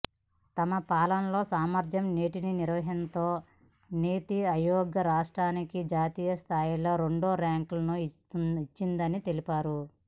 తమ పాలనలో సమర్థ నీటి నిర్వహణతో నీతిఆయోగ్ రాష్ట్రానికి జాతీయ స్థాయిలో రెండో ర్యాంకులను ఇచ్చిందని తెలిపారు